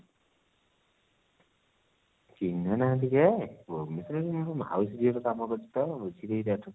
ଚିହ୍ନା ନାହାନ୍ତି ଯେ ମୋର ସେମିତି ରେ ମାଉସୀ ଝିଅ କାମ କରୁଛି ତ ବୁଝିଦେବି ତା ଠୁ